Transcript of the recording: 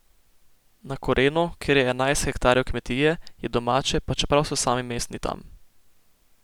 Na Kurenu, kjer je enajst hektarov kmetije, je domače, pa čeprav so sami mestni tam!